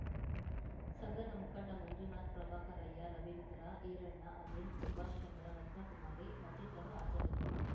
ಸಂಘದ ಮುಖಂಡ ಮಂಜುನಾಥ್‌ ಪ್ರಭಾಕರಯ್ಯ ರವೀಂದ್ರ ಈರಣ್ಣ ಅನಿಲ್‌ ಸುಬಾಷ್‌ಚಂದ್ರ ರತ್ನಕುಮಾರಿ ಮತ್ತಿತರರು ಹಾಜರಿದ್ದರು